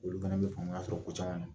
Olu fana bɛ faamaya sɔrɔ ko caman na.